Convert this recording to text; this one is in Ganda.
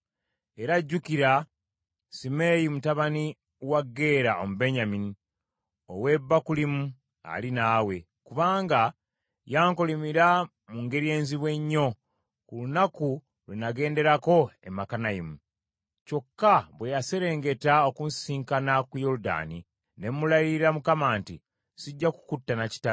“Era jjukira Simeeyi mutabani wa Gera Omubenyamini ow’e Bakulimu ali naawe, kubanga yankolimira mu ngeri enzibu ennyo, ku lunaku lwe nagenderako e Makanayimu. Kyokka bwe yaserengeta okunsisinkana ku Yoludaani ne mulayirira Mukama nti, ‘Sijja kukutta na kitala.’